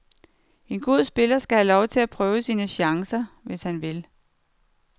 En god spiller skal have lov til at prøve sin chance, hvis han vil.